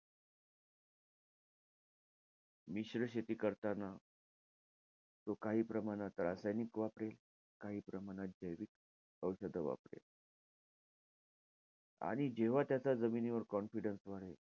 मिश्र शेती करताना तो काही प्रमाणात रासायनिक वापरेल. काही प्रमाणात जैविक औषधं वापरेल. आणि जेव्हा त्याचा जमिनीवर confidence वाढेल,